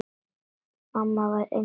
Mamma var einstök kona.